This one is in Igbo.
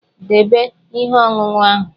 Debe ihe ọṅụṅụ ahụ!